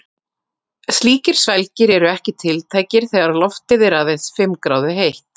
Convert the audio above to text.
Slíkir svelgir eru ekki tiltækir þegar loftið er aðeins fimm gráðu heitt.